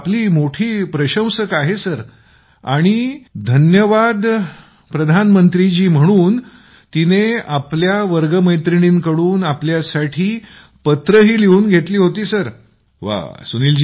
आपली ती मोठी प्रशंसक आहे आणि आणि आपल्यासाठी तिने वास्तवात धन्यवाद प्रधानमंत्रीजी म्हणून तिनेच आपल्या वर्गसहकारी आहेत त्यांच्याकडून तिने पत्रंही लिहीली होती तिने